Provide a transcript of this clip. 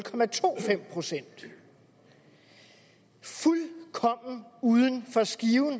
procent fuldkommen uden for skiven